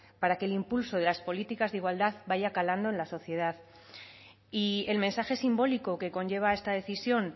para que el impulso de las políticas de igualdad vaya calando en la sociedad y el mensaje simbólico que conlleva esta decisión